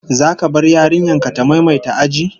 Zaka bar yarinyar ka ta maimaita aji?